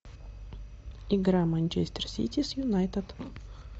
игра манчестер сити с юнайтед